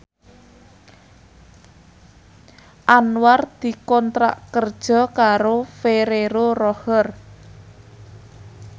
Anwar dikontrak kerja karo Ferrero Rocher